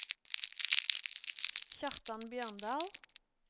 Kjartan Bjørndal